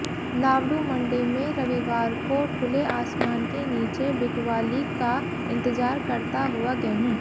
तावडू मंडी में रविवार को खुले आसमान के नीचे बिकवाली का इंतजार करता हुआ गेहूं